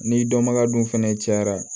Ni dɔnbaga dun fɛnɛ cayara